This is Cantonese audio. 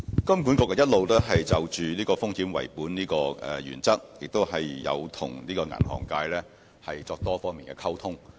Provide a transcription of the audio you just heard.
金管局一直有就"風險為本"的原則，與銀行界作多方面的溝通。